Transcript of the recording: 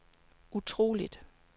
utroligt